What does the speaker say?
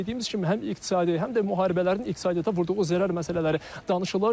Dediyimiz kimi həm iqtisadi, həm də müharibələrin iqtisadiyyata vurduğu zərər məsələləri danışılır.